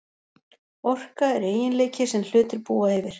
Orka er eiginleiki sem hlutir búa yfir.